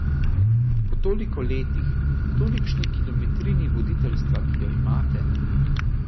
Po toliko letih, tolikšni kilometrini voditeljstva, ki jo imate ...